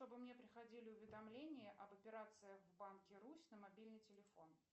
чтобы мне приходили уведомления об операциях в банке русь на мобильный телефон